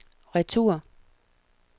retur